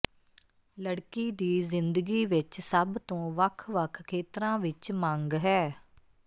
ਲੜਕੀ ਦੀ ਜ਼ਿੰਦਗੀ ਵਿਚ ਸਭ ਤੋਂ ਵੱਖ ਵੱਖ ਖੇਤਰਾਂ ਵਿਚ ਮੰਗ ਹੈ